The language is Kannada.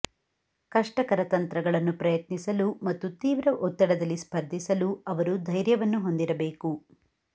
ಕಷ್ಟಕರ ತಂತ್ರಗಳನ್ನು ಪ್ರಯತ್ನಿಸಲು ಮತ್ತು ತೀವ್ರ ಒತ್ತಡದಲ್ಲಿ ಸ್ಪರ್ಧಿಸಲು ಅವರು ಧೈರ್ಯವನ್ನು ಹೊಂದಿರಬೇಕು